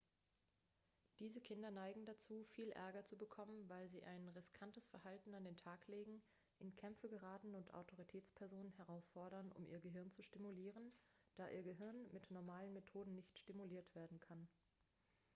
diese kinder neigen dazu viel ärger zu bekommen weil sie ein riskantes verhalten an den tag legen in kämpfe geraten und autoritätspersonen herausfordern um ihr gehirn zu stimulieren da ihr gehirn mit normalen methoden nicht stimuliert werden kann